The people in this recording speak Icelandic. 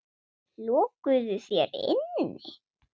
Lokuðu hér inni.